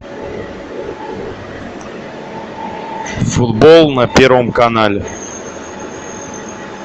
футбол на первом канале